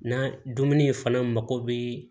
N'a dumuni fana mako bɛ